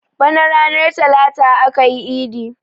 Bana ranar talata akayi idi